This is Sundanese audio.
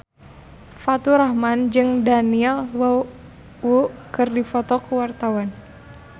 Faturrahman jeung Daniel Wu keur dipoto ku wartawan